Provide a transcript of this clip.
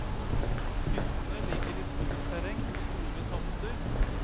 Hyttene ligger i skogsterreng på store tomter.